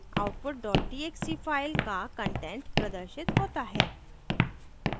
output dot txt file का content प्रदर्शित होता है